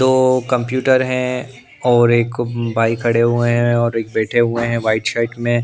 दो कंप्यूटर हैं और एक भाई खड़े हुए हैं और एक बैठे हुए हैं वाइट शर्ट में --